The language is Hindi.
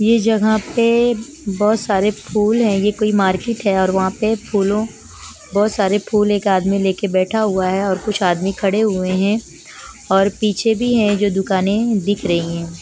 ये जगह पे बहुत सारे फुल है ये कोई मार्केट है और वहा पे फूलों बहुत सारे फुल एक आदमी लेके बेठा हुआ है और कुछ आदमी खड़े हुए है और पीछे भी है जो दुकाने दिख रही है।